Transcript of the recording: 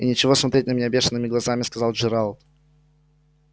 и нечего смотреть на меня бешеными глазами сказал джералд